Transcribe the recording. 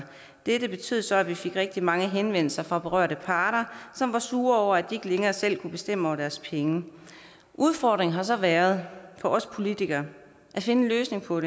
dette betød så at vi fik rigtig mange henvendelser fra berørte parter som var sure over at de ikke længere selv kunne bestemme over deres egne penge udfordringen har så været for os politikere at finde en løsning på